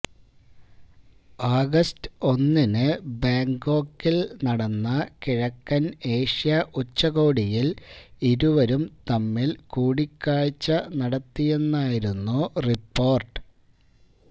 August ഒന്നിന് ബാങ്കോക്കിൽ നടന്ന കിഴക്കൻ ഏഷ്യാ ഉച്ചകോടിയിൽ ഇരുവരും തമ്മിൽ കൂടിക്കാഴ്ച നടത്തിയെന്നായിരുന്നു റിപ്പോർട്ട്